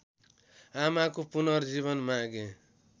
आमाको पुनर्जीवन मागे